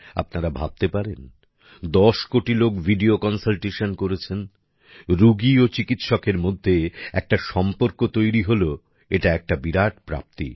আপনারা ভাবতে পারেন ১০ কোটি লোক ভিডিও কন্সালটেশন করেছেন রুগী ও চিকিৎসকের মধ্যে একটা সম্পর্ক তৈরী হলো এটা একটা বিরাট প্রাপ্তি